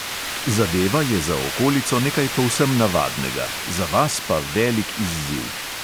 Zadeva je za okolico nekaj povsem navadnega, za vas pa velik izziv.